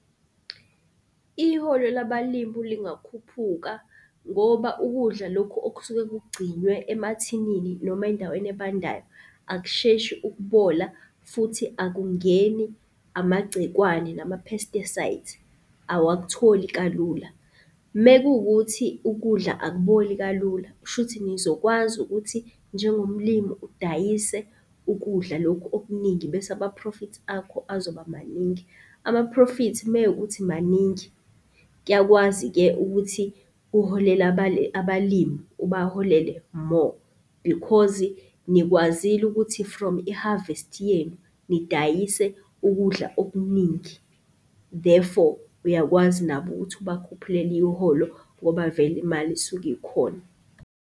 Iholo labalimi lingakhuphuka ngoba ukudla loku okusuke kugcinwe emathinini noma endaweni ebandayo akusheshi ukubola, futhi akungeni amagcikwane nama-pesticides awakutholi kalula. Mekuwukuthi ukudla akuboli kalula, kusho ukuthi nizokwazi ukuthi njengomlimi udayise ukudla lokhu okuningi bese amaphrofithi akho azoba maningi. Amaphrofithi mewukukuthi maningi kuyakwazi-ke ukuthi uholele abalimi, ubaholele more because nikwazile ukuthi from i-harvest-i yenu nidayise ukudla okuningi. Therefore, uyakwazi nabo ukuthi ubakhuphulele iholo ngoba vele imali isuke ikhona.